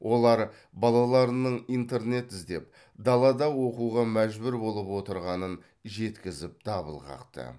олар балаларының интернет іздеп далада оқуға мәжбүр болып отырғанын жеткізіп дабыл қақты